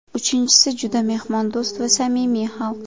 Uchinchisi juda mehmondo‘st va samimiy xalq.